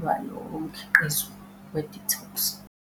lwalowo mkhiqizo we-detox.